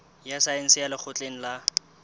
ya saense ya lekgotleng la